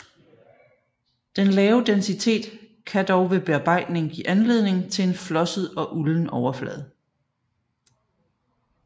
Den lave densitet kan dog ved bearbejdning give anledning til en flosset og ulden overflade